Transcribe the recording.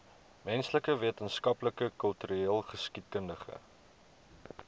menslike wetenskappe kultureelgeskiedkundige